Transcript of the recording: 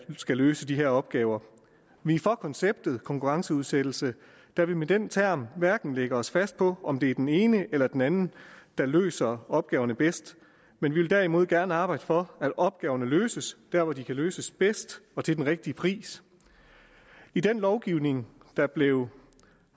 skal løse de her opgaver vi er for konceptet konkurrenceudsættelse da vi med den term hverken lægger os fast på om det er den ene eller den anden der løser opgaverne bedst men vi vil derimod gerne arbejde for at opgaverne løses der hvor de kan løses bedst og til den rigtige pris i den lovgivning der blev